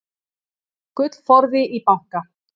gullforði í banka